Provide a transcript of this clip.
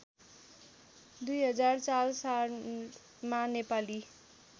२००४ सालमा नेपाली